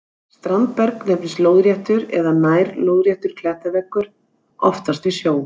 Standberg nefnist lóðréttur eða nær-lóðréttur klettaveggur, oftast við sjó.